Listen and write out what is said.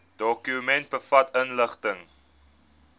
dokument bevat inligting